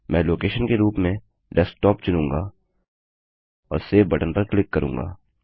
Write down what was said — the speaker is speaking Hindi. मैं लोकेशन के रूप में डेस्क्टॉप चुनूँगा और सेव बटन पर क्लिक करूँगा